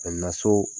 so